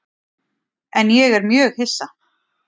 En ég er mjög hissa.